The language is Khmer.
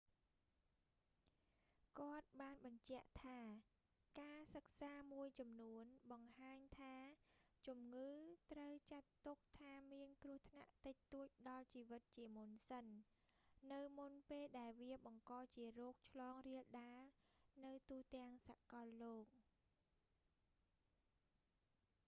គាត់បានបញ្ជាក់ថា ការសិក្សាមួយចំនួនបង្ហាញថា ជំងឺត្រូវចាត់ទុកថាមានគ្រោះថ្នាក់តិចតួចដល់ជីវិតជាមុនសិន នៅមុនពេលដែលវាបង្កជារោគឆ្លងរាលដាលនៅទូទាំងសាកលលោក